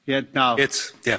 Herr Präsident!